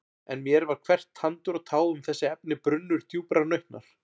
En mér var hvert tandur og tá um þessi efni brunnur djúprar nautnar.